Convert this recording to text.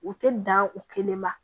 U tɛ dan o kelen ma